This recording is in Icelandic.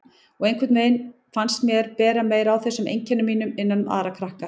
Og einhvern veginn fannst mér bera meira á þessum einkennum mínum innan um aðra krakka.